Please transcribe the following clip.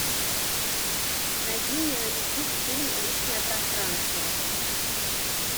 найди мне на ютуб фильм личное пространство